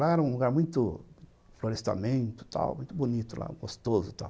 Lá era um lugar muito florestamento, tal, muito bonito lá, gostoso e tal.